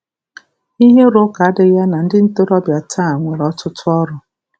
Ihe ịrụ ụka adịghị ya na ndị ntorobịa taa nwere ọtụtụ uru.